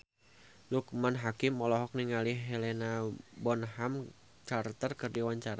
Loekman Hakim olohok ningali Helena Bonham Carter keur diwawancara